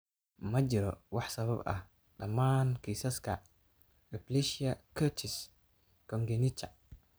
Ma jirto wax sabab ah dhammaan kiisaska aplasia cutis congenita.